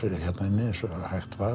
hérna inni eins og hægt var